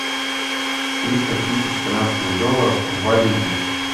триста тысяч канадских долларов в валюте